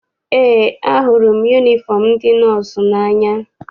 Eé, ahụrụ m yunifọm ndị nọọsụ n'anya.